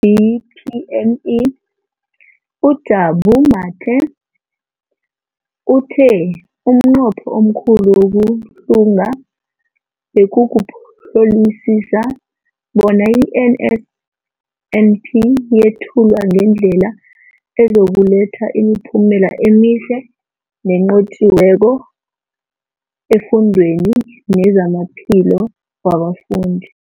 DPME, uJabu Mathe, uthe umnqopho omkhulu wokuhlunga bekukuhlolisisa bona i-NSNP yethulwa ngendlela ezokuletha imiphumela emihle nenqotjhiweko efundweni nezamaphilo wabafundi.